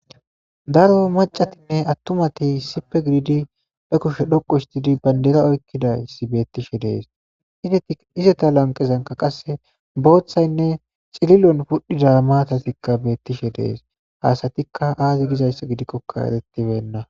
daro macatinne attumati issipe gididi be kushe dhoqu hstidi bandera oykkidayssi beettishe dees izeta lanqezanka qasse booththaynne cililon pudhida maatatikka beettishe dees haasatikka aazi gizayssa gidikkoka erettibenna